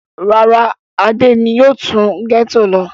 Rárá, Adé ni yóò tún gẹ́tò lọ.